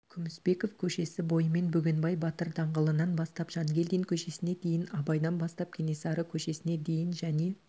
күмісбеков көшесі бойымен бөгенбай батыр даңғылынан бастап жангелдин көшесіне дейін абайдан бастап кенесары көшесіне дейін және